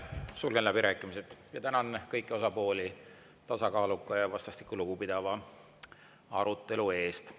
Sulgen läbirääkimised ja tänan kõiki osapooli tasakaaluka ja vastastikku lugupidava arutelu eest.